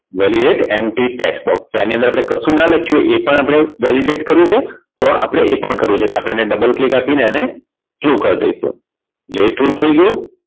Validate np tax box તો આની અંદર આપણે કશું ના લખીએ એ પણ આપણે validate કર્યુ છે તો આપણે એ પણ કરીએ છીએ એટલે આપણે double click આપી એને true કર દઈશું એ true થઈ ગયું